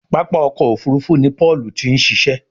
pápá ọkọ̀-òfurufú ni Paul tin ṣiṣẹ